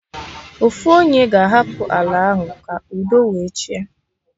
Ofu onye ga-hapụ ala ahụ ka udo wee chịa